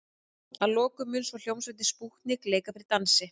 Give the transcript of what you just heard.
Að lokum mun svo hljómsveitin Spútnik leika fyrir dansi.